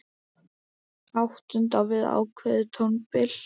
Áttund á við ákveðið tónbil.